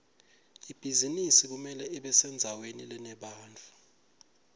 ibhizinisi kumele ibesendzaweni lenebantfu